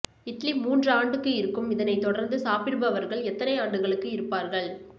இட்லி மூன்று ஆண்டுக்கு இருக்கும் இதனை தொடர்ந்து சாப்பிடுபவர்கள் எத்தனை ஆண்டுகளுக்கு இருப்பார்கள்